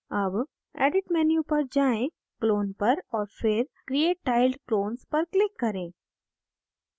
अब edit menu पर जाएँ clone पर और फिर create tiled clones पर click करें